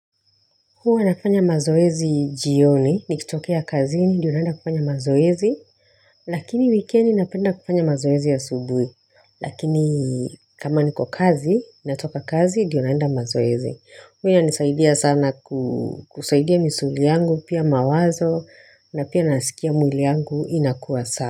Huwa nafanya mazoezi jioni, nikitokea kazini, ndiyo naenda kufanya mazoezi. Lakini wikendi napenda kufanya mazoezi asubui. Lakini kama niko kazi, natoka kazi, ndiyo naenda mazoezi. Huwa inanisaidia sana kusaidia misuli yangu, pia mawazo, na pia nasikia mwili yangu inakuwa sawa.